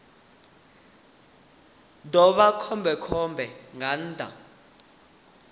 ḓo vha khombekhombe nga nnḓa